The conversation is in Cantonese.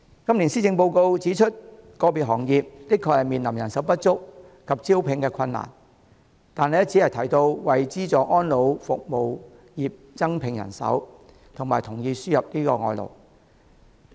今年施政報告指出個別行業的確面臨人手不足及招聘困難，但只提到會為資助安老服務業增聘人手及同意輸入外地勞工。